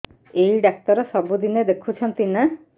ଏଇ ଡ଼ାକ୍ତର ସବୁଦିନେ ଦେଖୁଛନ୍ତି ନା